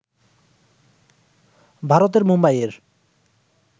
ভারতের মুম্বাইয়ের